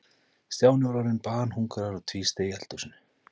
Stjáni var orðinn banhungraður og tvísteig í eldhúsinu.